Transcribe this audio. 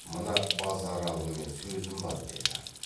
мына базаралымен сөзім бар деді